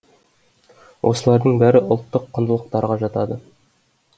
осылардың бәрі ұлттық құндылықтарға жатады